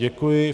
Děkuji.